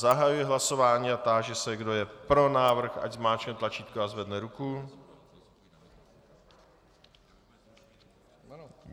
Zahajuji hlasování a táži se, kdo je pro návrh, ať zmáčkne tlačítko a zvedne ruku.